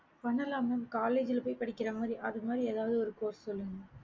பண்ணலாம் mam college போய் படிக்கற அது மாறி எதாவது ஒரு course சொல்லுங்க